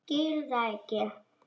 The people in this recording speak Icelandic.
Ég skil það ekki.